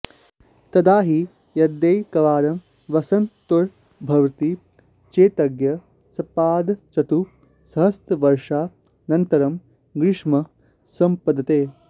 तदा हि यद्येकवारं वसन्तर्तुर्भवति चेत्तत्र सपादचतुःसहस्रवर्षानन्तरं ग्रीष्मः सम्पद्यते